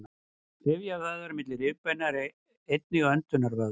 rifjavöðvar milli rifbeina eru einnig öndunarvöðvar